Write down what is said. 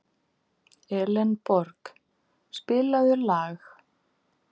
Elenborg, spilaðu lag.